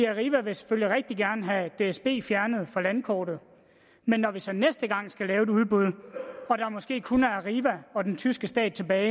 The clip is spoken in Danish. arriva vil selvfølgelig rigtig gerne have dsb fjernet fra landkortet men når vi så næste gang skal lave et udbud og der måske kun er arriva og den tyske stat tilbage